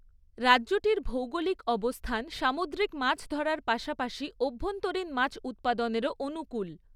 রাজ্যটির ভৌগোলিক অবস্থান সামুদ্রিক মাছ ধরার পাশাপাশি অভ্যন্তরীণ মাছ উৎপাদনেরও অনুকূল।